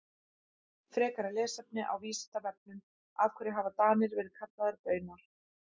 Frekara lesefni á Vísindavefnum Af hverju hafa Danir verið kallaðir Baunar?